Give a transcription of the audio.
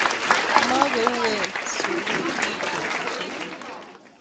Makouwen sumekyu betusiechu